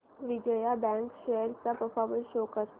Vijaya bank shares चा performance show कर